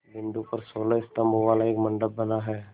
बिंदु पर सोलह स्तंभों वाला एक मंडप बना है